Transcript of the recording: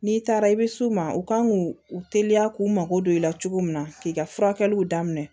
N'i taara i bɛ s'u ma u kan k'u u teliya k'u mako don i la cogo min na k'i ka furakɛliw daminɛ